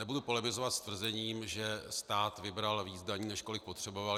Nebudu polemizovat s tvrzením, že stát vybral víc daní, než kolik potřeboval.